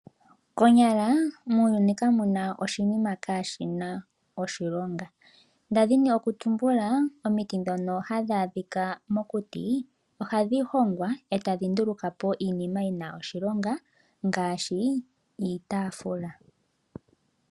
Konyala muuyuni kamu na oshinima kaashina oshilonga. Ndali ndi na okutumbula omiti dhoka hadhi adhika mokuti, ohadhi hongwa e tadhi nduluka po iinima yina oshilonga ngaashi iitafula.